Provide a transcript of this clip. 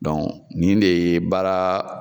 nin de ye baara